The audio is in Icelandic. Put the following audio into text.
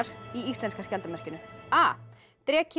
í íslenska skjaldarmerkinu a